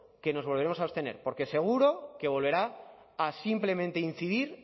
que nos volveremos a abstener porque seguro que volverá a simplemente incidir